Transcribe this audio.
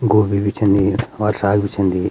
गोभी भी छिन यी और साग भी छिंदी।